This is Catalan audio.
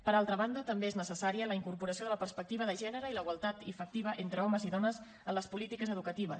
per altra banda també és necessària la incorporació de la perspectiva de gènere i la igualtat efectiva entre homes i dones en les polítiques educatives